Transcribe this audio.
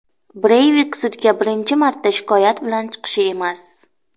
Breyvik sudga birinchi marta shikoyat bilan chiqishi emas.